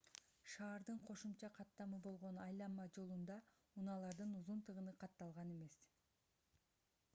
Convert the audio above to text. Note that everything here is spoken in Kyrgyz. шаардын кошумча каттамы болгон айланма жолунда унаалардын узун тыгыны катталган эмес